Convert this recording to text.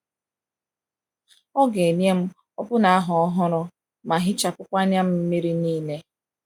Ọ ga-enye m ọbụna ahụ ọhụrụ ma hichapụkwa anya mmiri m niile.